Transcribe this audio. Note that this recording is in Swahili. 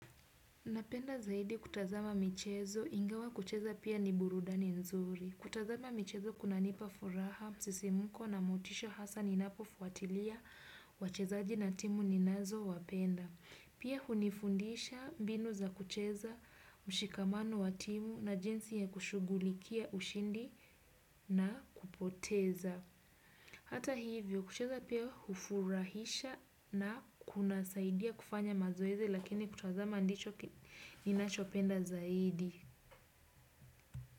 Napenda zaidi kutazama michezo, ingawa kucheza pia ni burudani nzuri. Kutazama michezo kunanipa furaha, msisimuko na motisha hasa ninapo fuatilia wachezaji na timu ninazo wapenda. Pia hunifundisha mbinu za kucheza mshikamano wa timu na jinsi ya kushugulikia ushindi na kupoteza. Hata hivyo kucheza pia hufurahisha na kunasaidia kufanya mazoezi lakini kutazama ndicho ninachopenda zaidi.